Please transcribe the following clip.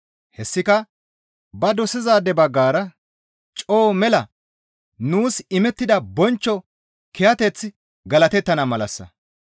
Hessika ba dosizaade baggara coo mela nuus imettida bonchcho kiyateththi galatettana malassa.